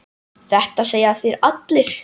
Þetta segja þeir allir!